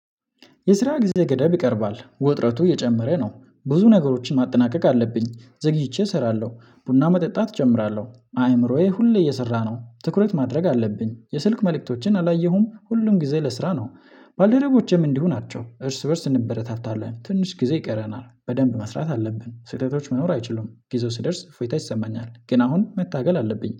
የስራ ጊዜ ገደብ ይቀርባል ወጥረቱ እየጨመረ ነው። ብዙ ነገሮችን ማጠናቀቅ አለብኝ ዘግይቼ እሰራለው ቡና መጠጣት ጀምራለው አይምሮዬ ሁሌ እየሰራ ነው ትኩረት ማድረግ አለብኝ የስልክ መልእክቶችን አላየሁም ሁሉም ጊዜ ለስራ ነው። ባልደረቦቼም እንዲሁ ናቸው። እርስ በእርስ እንበረታታለን ትንሽ ጊዜ ይቀረናል በደንብ መስራት አለብን ስህተቶች መኖር አይችሉም ጊዜው ስደርስ አፎይታ ይሰማኛል ግን አሁን መታገል አለብኝ።